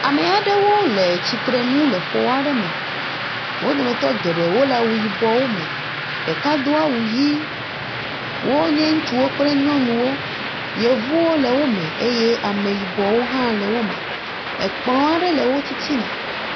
Ame aɖewo le tsitre nu le xɔ aɖe me. Wo dometɔ geɖee wole awu yibɔ me. Ɖeka do awu ʋi. Wonye ŋutsuwo kple nyɔnuwo. Yevuwo le wo me eye ame yibɔwo hã le wo me. Kplɔ̃ aɖe hã le wo titina.